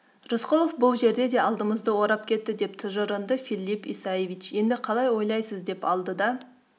рысқұлов бұл жерде де алдымызды орап кетті деп тыжырынды филипп исаевич енді қалай ойлайсыз деп алдыда